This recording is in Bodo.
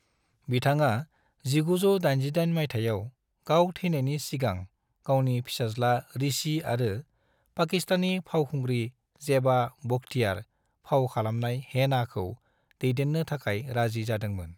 बिथाङा 1988 मायथाइयाव गाव थैनायनि सिगां गावनि फिसाज्ला ऋषि आरो पाकिस्तानी फावखुंग्रि जेबा बख्तियार फाव खालामनाय हेनाखौ दैदेननो थाखाय राजि जादोंमोन।